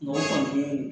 Mɔgɔ kɔni tɛ yen